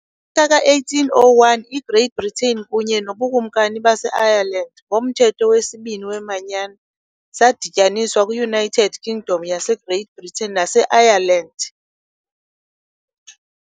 Ka-1801 iGreat Britain kunye noBukumkani baseIreland, ngoMthetho wesibini "weManyano", zadityaniswa kwiUnited Kingdom yaseGreat Britain naseIreland.